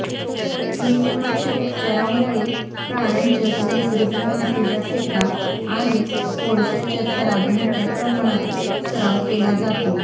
क्वीनिमाच्या उपचारांमुळे प्राण्यांच्या नैसर्गिक मातीच्या ठेका आणि कोळशाच्या थरांत मोठ्या प्रमाणात सराव केला जातो